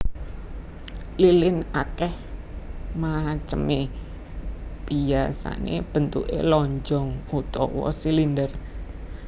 Lilin akeh maceme biyasané bentuké lonjong utawa silinder